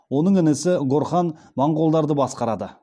оның інісі горхан монғолдарды басқарады